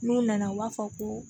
N'u nana u b'a fɔ ko